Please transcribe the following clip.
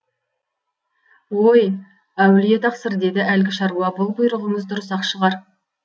ой әулие тақсыр деді әлгі шаруа бұл бұйрығыңыз дұрыс ақ шығар